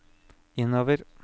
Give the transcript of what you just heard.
innover